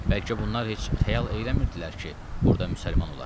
Bəlkə bunlar heç xəyal eləmirdilər ki, burda müsəlman olar.